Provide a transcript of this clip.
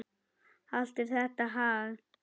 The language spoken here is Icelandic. Allt er þetta hagl.